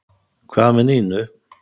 Hvað með Nínu?